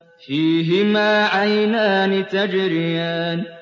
فِيهِمَا عَيْنَانِ تَجْرِيَانِ